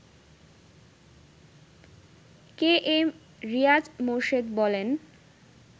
কে M Riaz Morshed বলেন